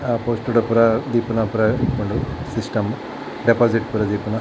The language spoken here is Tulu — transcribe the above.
ಆ ಪೊರ್ತುಡು ಪೂರ ದೀಪುನ ಪೂರ ಇಪ್ಪುಂಡು ಸಿಸ್ಟಮ್ ಡೆಪೋಸಿಟ್ ಪೂರ ದೀಪುನ.